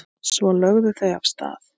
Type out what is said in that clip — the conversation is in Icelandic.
Svo lögðu þau af stað.